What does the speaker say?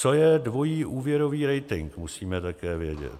Co je dvojí úvěrový rating, musíme také vědět.